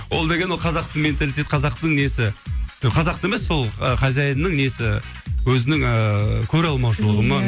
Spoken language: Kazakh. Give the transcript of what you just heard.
ол деген ол қазақтың менталитет қазақтың несі жоқ қазақ та емес сол хозяинның несі өзінің ыыы көреалмаушылығы ма